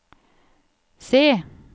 se